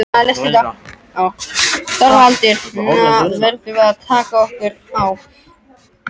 ÞORVALDUR: Nú verðum við að taka okkur á.